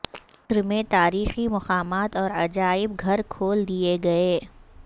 مصر میں تاریخی مقامات اور عجائب گھر کھول دیے گئے